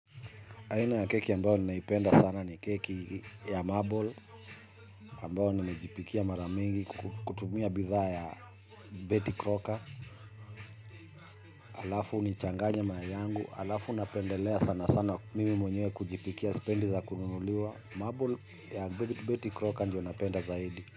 Aina ya keki ambao ninaipenda sana ni keki ya marble ambao ninajipikia mara mingi kutumia bidhaa ya baking soda alafu nichanganye mayai yangu alafu napendelea sana sana mimi mwenyewe kujipikia spendi za kununuliwa. Marble ya beti croca ndiyo napenda zaidi.